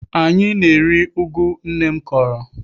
Anyị na-eri ụgụ nne m kọrọ.